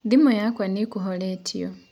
thimu yakwa nĩĩkũhoretĩo